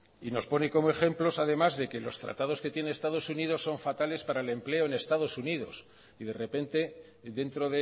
y nos pone como ejemplos además de que los tratados que tiene estados unidos son fatales para el empleo en estados unidos y de repente dentro